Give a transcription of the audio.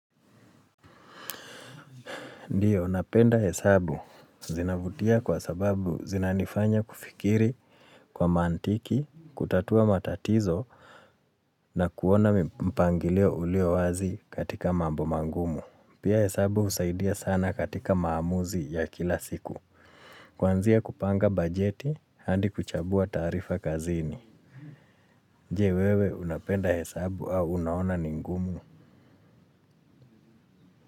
Ndiyo, unapenda hesabu. Zinavutia kwa sababu zinanifanya kufikiri kwa mantiki, kutatua matatizo na kuona mpangilio ulio wazi katika mambo mangumu. Pia hesabu husaidia sana katika maamuzi ya kila siku. Kuanzia kupanga bajeti hadi kuchambua taarifa kazini. Je wewe, unapenda hesabu au unaona ni ngumu?